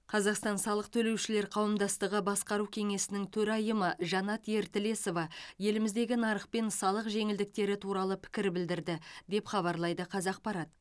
қазақстан салық төлеушілер қауымдастығы басқару кеңесінің төрайымы жанат ертілесова еліміздегі нарық пен салық жеңілдіктері туралы пікір білдірді деп хабарлайды қазақпарат